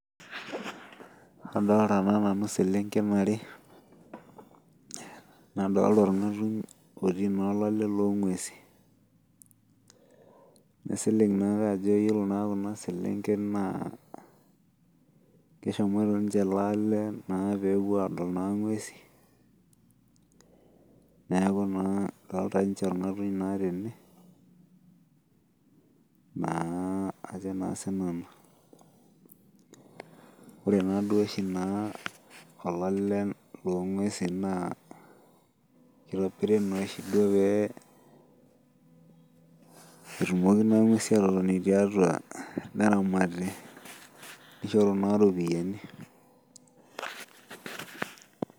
Adoolta naa nanu iselenken ware, nadoolta orng'atuny otii naa olale loonguesin. Kaisilig naake ajo yiolo naa kuna selenken naa keshomoita ninche ele ale naa peepuo aadol naa ing'uesin. Neeku naa edolta nche orng'atuny naa tene, naa ajo naa sinanu. Wore naaduo oshi naa olale loong'uesin naa kitobiri naa oshi duo pee etumoki naa ing'uesin aatotoni tiatua neramati, nishoru naa iropiyani.